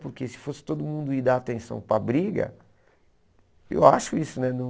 Porque se fosse todo mundo ir dar atenção para a briga, eu acho isso, né? Não